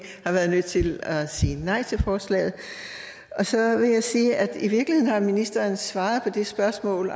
har været nødt til at sige nej til forslaget og så vil jeg sige at i virkeligheden har ministeren allerede svaret på det spørgsmål